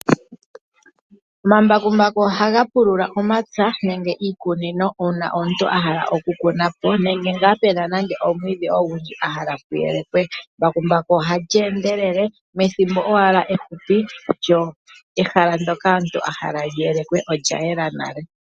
Omambakumbaku ohaga pulula omapya nenge iikunino uuna omuntu a hala okukuna po nenge ngaa pu na omwiidhi ogundji omuntu a hala puyelekwe. Embakumbu ohali endelele methimbo owala ehupi lyo ehala ndoka omuntu a hala li yelekwe olya yela nale.